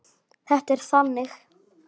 Þetta er þannig.